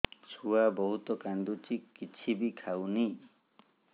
ଛୁଆ ବହୁତ୍ କାନ୍ଦୁଚି କିଛିବି ଖାଉନି